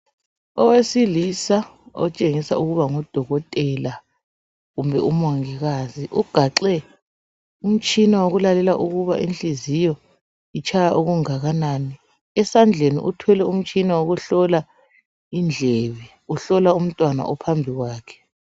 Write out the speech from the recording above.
Owesilisa otshengisa ukuba ngudokotela kumbe umongikazi. Ugaxe umtshina wokulalela ukuba inhliziyo itshaya okungakanani. Esandleni uphethe umtshina wokuhlola indlebe. Uhlola umntwana ophambi kwakhe.